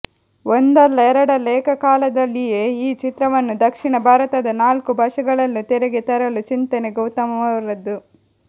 ಒಂದಲ್ಲ ಎರಡಲ್ಲ ಏಕಕಾಲದಲ್ಲಿಯೇ ಈ ಚಿತ್ರವನ್ನು ದಕ್ಷಿಣ ಭಾರತದ ನಾಲ್ಕು ಭಾಷೆಗಳಲ್ಲೂ ತೆರೆಗೆ ತರಲು ಚಿಂತನೆ ಗೌತಮ್ ಅವರದ್ದು